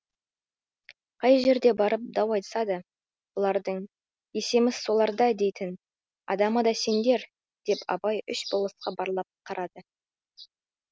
қай жерге барып дау айтса да бұлардың есеміз соларда дейтін адамы да сендер деп абай үш болысқа барлап қарап қалды